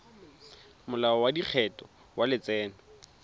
molao wa lekgetho wa letseno